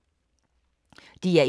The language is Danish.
DR1